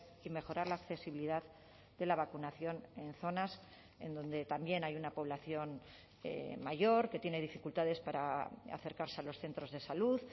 y mejorar la accesibilidad de la vacunación en zonas en donde también hay una población mayor que tiene dificultades para acercarse a los centros de salud